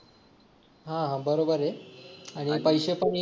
हा हा बरोबर आहे आणि पैसे पण